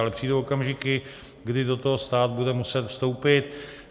Ale přijdou okamžiky, kdy do toho stát bude muset vstoupit.